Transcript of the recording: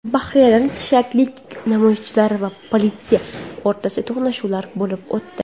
Bahraynda shialik namoyishchilar va politsiya o‘rtasida to‘qnashuvlar bo‘lib o‘tdi.